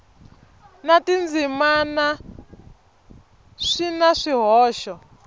na tindzimana swi na swihoxo